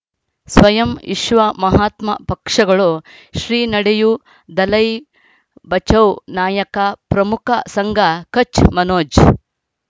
ಸ್ವಯಂ ವಿಶ್ವ ಮಹಾತ್ಮ ಪಕ್ಷಗಳು ಶ್ರೀ ನಡೆಯೂ ದಲೈ ಬಚೌ ನಾಯಕ ಪ್ರಮುಖ ಸಂಘ ಕಚ್ ಮನೋಜ್